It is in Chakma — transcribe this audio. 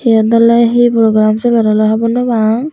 yot ole hi program soler ole hobor no pang.